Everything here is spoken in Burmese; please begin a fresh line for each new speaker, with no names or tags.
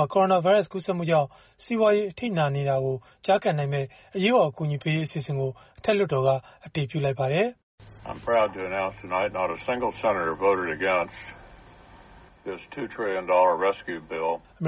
ှာ ကိုရိုနာဗိုင်းရပ်စ် ကူးစက်မှုကြောင့် စီးပွားရေး အထိနာနေတာကို ကျားကန်နိုင်မယ့် အရေးပေါ် အကူအညီပေးရေး အစီအစဉ်ကို အထက်လွှတ်တော်က အတည်ပြုလိုက်ပါတယ်။ “အမ